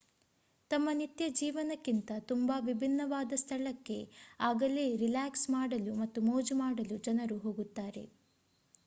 ತಮ್ಮ ನಿತ್ಯ ಜೀವನಕ್ಕಿಂತ ತುಂಬಾ ವಿಭಿನ್ನವಾದ ಸ್ಥಳಕ್ಕೆ ಆಗಲೇ ರಿಲ್ಯಾಕ್ಸ್ ಮಾಡಲು ಮತ್ತು ಮೋಜು ಮಾಡಲು ಜನರು ಹೋಗುತ್ತಾರೆ